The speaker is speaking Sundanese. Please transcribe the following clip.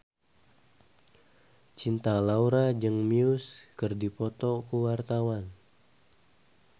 Cinta Laura jeung Muse keur dipoto ku wartawan